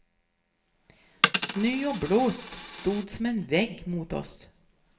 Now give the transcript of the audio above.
Snö och blåst stod som en vägg mot oss.